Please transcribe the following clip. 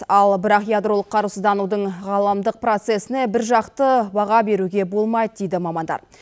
ал бірақ ядролық қарусызданудың ғаламдық процесіне біржақты баға беруге болмайды дейді мамандар